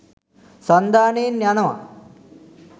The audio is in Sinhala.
සන්ධානයෙන් යනවා.